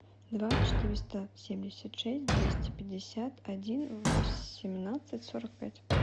два четыреста семьдесят шесть двести пятьдесят один восемнадцать сорок пять